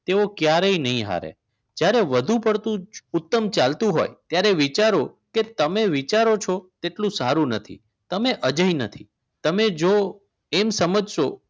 તેઓ ક્યારેય નહીં હારે જ્યારે વધુ પડતું ઉત્તમ ચાલતું હોય ત્યારે વિચારો કે તમે વિચારો છો જેટલું સારું નથી તમે અજય નથી તમે જો એમ સમજશો